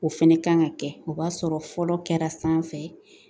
O fɛnɛ kan ka kɛ o b'a sɔrɔ fɔlɔ kɛra sanfɛ